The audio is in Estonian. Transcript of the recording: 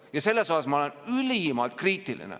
Ja selle suhtes ma olen ülimalt kriitiline.